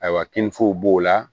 Ayiwa kininfo b'o la